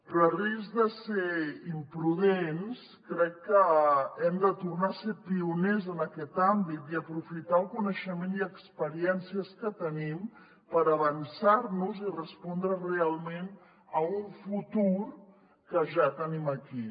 però a risc de ser imprudents crec que hem de tornar a ser pioners en aquest àmbit i aprofitar el coneixement i experiència que tenim per avançar nos i respondre realment a un futur que ja tenim aquí